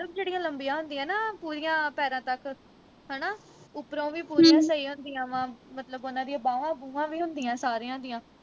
ਮਤਲਬ ਜਿਹੜੀਆਂ ਲੰਬੀਆਂ ਹੁੰਦੀਆਂ ਨਾ ਪੂਰੀਆਂ ਪੈਰਾਂ ਤੱਕ ਹਣਾ ਉਪਰੋਂ ਵੀ ਪੂਰੀਆਂ ਸਹੀ ਹੁੰਦੀਆਂ ਵਾ ਮਤਲਬ ਉਨ੍ਹਾਂ ਦੀਆਂ ਬਾਹਵਾਂ ਬੂਵਾ ਵੀ ਹੁੰਦੀਆਂ ਸਾਰਿਆ ਦੀਆਂ